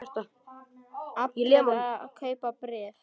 Allir að kaupa bréf